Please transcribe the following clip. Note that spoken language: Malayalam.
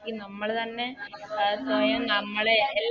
ക്കി നമ്മള് തന്നെ അഹ് സ്വയം നമ്മളെ